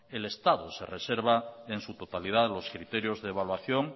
el estado se reserva en su totalidad los criterios de evaluación